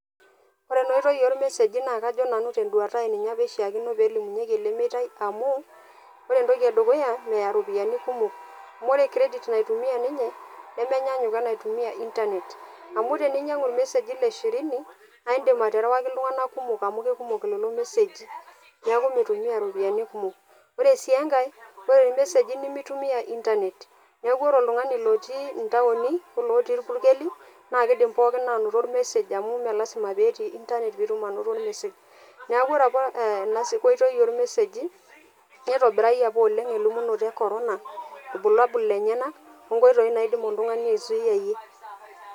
Ore ena oitoi ormeseji naa kajo nanu tenduata ai , ninye apa ishiaakino nelimunyieki ele meitai amu ore entoki edukuya , meya iropiyiani kumok , ore credit naitumia ninye nemenyaanyuk wenaitumia internet . Amu teninyiangu irmeseji le shirini naa indim aterewaki iltunganak kumok amu kekumok lelo meseji , niaku mitumia ropiyiani kumok. Ore sii enkae , ore irmeseji nemitumia internet , niaku ore oltungani lotii intaoni olootii irpukeli naa kidim pookin anoto message amu mmee lasima peetii internet pitum anoto ormesej. Niaku ore apa ena oitoi ormeseji , nitobirayie apa oleng elimunoto e corona , irbulabul lenyenak , onkoitoi naidim oltungani aizuyiayie.